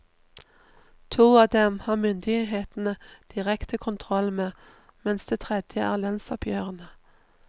To av dem har myndighetene direkte kontroll med, mens det tredje er lønnsoppgjørene.